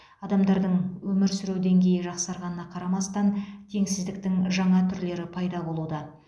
адамдардың өмір сүру деңгейі жақсарғанына қарамастан теңсіздіктің жаңа түрлері пайда болуда